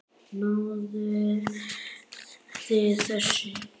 Náðuð þið þessu?